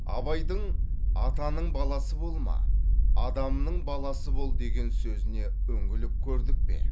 абайдың атаның баласы болма адамның баласы бол деген сөзіне үңіліп көрдік пе